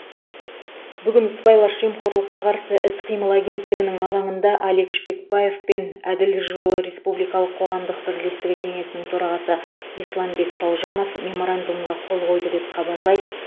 бүгін сыбайлас жемқорлыққа қарсы іс қимыл агенттігінің алаңында алик шпекбаев пен әділдік жолы республикалық қоғамдық бірлестігі кеңесінің төрағасы исламбек салжанов меморандумға қол қойды деп хабарлайды